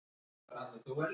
miðvikudeginum